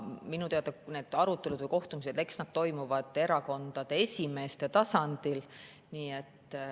Minu teada arutelud või kohtumised toimuvad erakondade esimeeste tasandil.